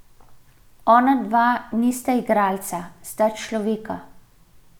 Ona dva nista igralca, sta človeka.